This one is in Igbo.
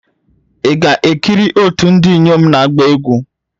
Ị ga-ekiri otu ndị inyom na-agba egwu?